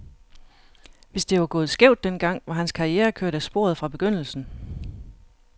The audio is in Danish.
Hvis det var gået skævt den gang, var hans karriere kørt af sporet fra begyndelsen.